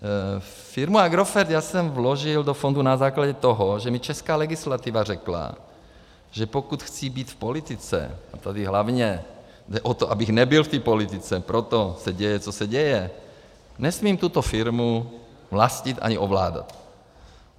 Firma Agrofert, já jsem vložil do fondu na základě toho, že mně česká legislativa řekla, že pokud chci být v politice - a tady hlavně jde o to, abych nebyl v té politice, proto se děje, co se děje, nesmím tuto firmu vlastnit ani ovládat.